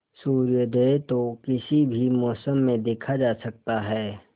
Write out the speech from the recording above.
सूर्योदय तो किसी भी मौसम में देखा जा सकता है